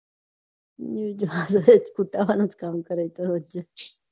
હા એ તો કરે છે